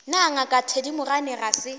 na ngaka thedimogane ga se